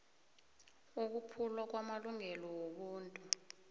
ukuphulwa kwamalungelo wobuntu